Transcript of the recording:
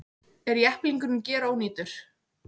Er jepplingurinn gerónýtur